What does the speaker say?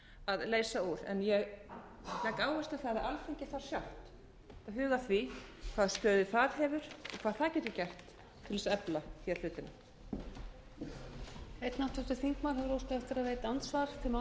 að leysa úr en ég legg áherslu á það að alþingi þarf sjálft að huga að því hvaða stöðu það hefur og hvað það getur gert til að efla hlutina